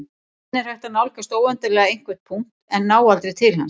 Hvernig er hægt að nálgast óendanlega einhvern punkt en ná aldrei til hans?